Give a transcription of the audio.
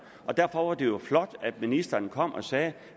derfor var det jo flot at ministeren kom og sagde